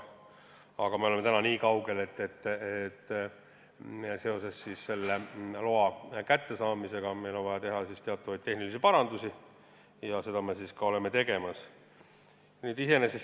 Aga me oleme täna nii kaugel, et seoses loa kättesaamisega on meil vaja teha teatavaid tehnilisi parandusi ja seda me olemegi hakanud tegema.